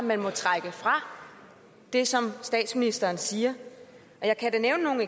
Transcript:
man må trække fra det som statsministeren siger jeg kan da nævne nogle